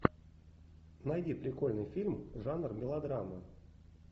найди прикольный фильм жанр мелодрама